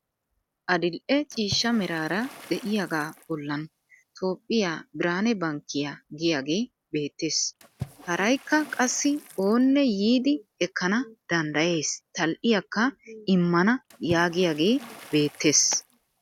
Adil'e ciishsha meraara de'iyaagaa bollan toophphiya birhaane bankkiyaa giyaagee beettes. Harayikka qassi oonne yiidi ekkana danddayes tal'iyaakka immana yaagiyagee beettes.